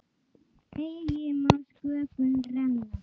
Eigi má sköpum renna